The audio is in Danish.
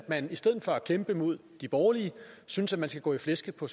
man i stedet for at kæmpe mod de borgerlige synes at man skal gå i flæsket på